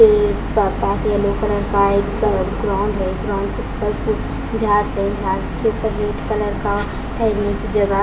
ये प पास येलो कलर का एक ग्राउंड है एक ग्राउंड उपर एक जाड़स है जाड़स के उपर रेड कलर का ठहेरने की जगह --